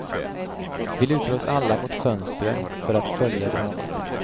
Vi lutar oss alla mot fönstren för att följa dramat.